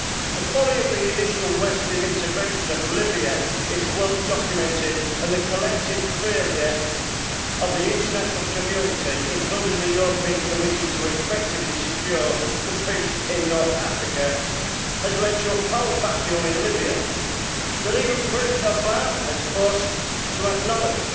The folly of the initial western intervention in Libya is well documented and the collective failure of the international community including the Commission to effectively secure peace in North Africa has led to a power vacuum in Libya that even President Obama has been forced to acknowledge.